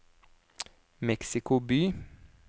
Mexico by